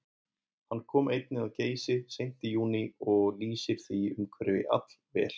Hann kom einnig að Geysi seint í júní og lýsir því umhverfi allvel.